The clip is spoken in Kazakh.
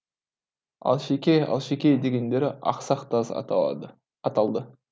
алшеке алшеке дегендері ақсақ таз аталды